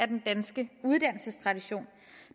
den danske uddannelsestradition